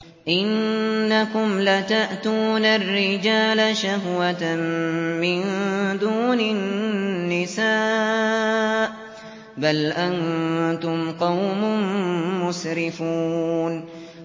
إِنَّكُمْ لَتَأْتُونَ الرِّجَالَ شَهْوَةً مِّن دُونِ النِّسَاءِ ۚ بَلْ أَنتُمْ قَوْمٌ مُّسْرِفُونَ